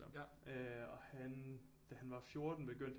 Øh og han da han var 14 begyndte